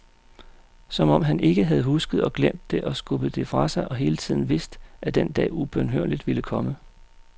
Som om han ikke havde husket og glemt det og skubbet det fra sig og hele tiden vidst at den dag ubønhørligt ville komme.